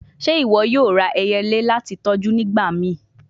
Ṣe iwọ yoo ra ẹyẹle lati tọju nigbamii?